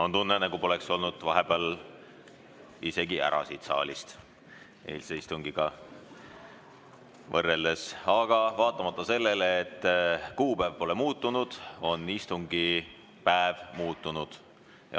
On tunne, nagu poleks pärast eilset istungit vahepeal siit saalist ära olnudki, aga vaatamata sellele, et kuupäev pole muutunud, on istungipäev muutunud.